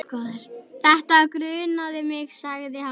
Þetta grunaði mig sagði hann.